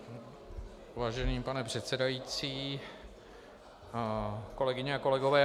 Vážený pane předsedající, kolegyně a kolegové.